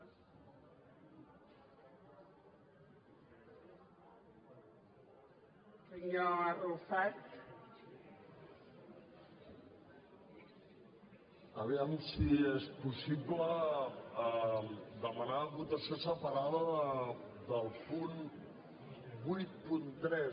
a veure si és possible demanar votació separada del punt vuitanta tres